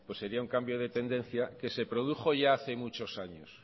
pues sería un cambio de tendencia que se produjo ya hace muchos años